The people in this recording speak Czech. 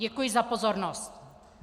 Děkuji za pozornost.